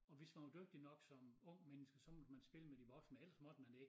Og hvis man var dygtig nok som ung menneske så måtte man spille med de voksne men ellers måtte man ikke